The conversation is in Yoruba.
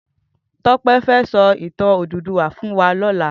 Tope fè sò itàn Ódúdúwà fún wá lòlá